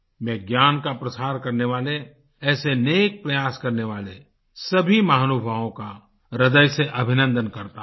मैं ज्ञान का प्रसार करने वाले ऐसे नेक प्रयास करने वाले सभी महानुभावों का हृदय से अभिनंदन करता हूँ